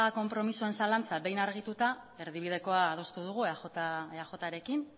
konpromisoen zalantza behin argituta erdibidekoa adostu dugu eajrekin